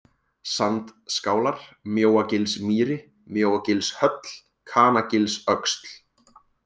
Sandskálar, Mjóagilsmýri, Mjóagilshöll, Kanagilsöxl